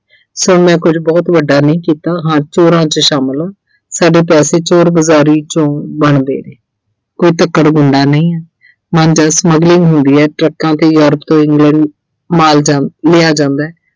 ਸੋ ਮੈਂ ਕੁਝ ਬਹੁਤ ਵੱਡਾ ਨਹੀਂ ਕੀਤਾ, ਹਾਂ ਚੋਰਾਂ 'ਚ ਸ਼ਾਮਿਲ ਆਂ ਸਾਡੇ ਪੈਸੇ ਚੋਰ-ਬਜ਼ਾਰੀ 'ਚੋਂ ਬਣਦੇ ਨੇ ਕੋਈ ਧੱਕੜ ਗੁੰਡਾ ਨਹੀਂ ਆਂ smuggling ਹੁੰਦੀ ਐ trucks ਤੇ Europe ਤੋਂ England ਮਾਲ ਜਾਂਦਾ ਅਹ ਲਿਆ ਜਾਂਦੈ।